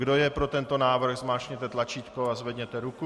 Kdo je pro tento návrh, zmáčkněte tlačítko a zvedněte ruku.